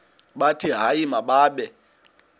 bathi hayi mababe